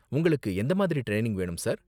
உங்களுக்கு எந்த மாதிரி ட்ரைனிங் வேணும், சார்?